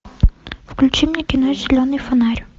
включи мне кино зеленый фонарь